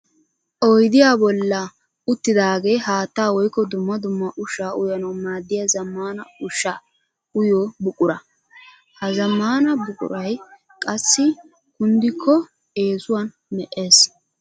Oydiya bolla uttidaage haatta woykko dumma dumma ushsha uyanawu maadiya zamaana ushsha uyiyo buqura. Ha zammaana buquray qassi kunddikko eesuwan me'ees.